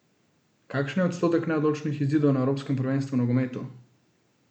Kakšen je odstotek neodločenih izidov na evropskem prvenstvu v nogometu?